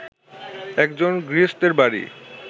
একজন গৃহস্থের বাড়ি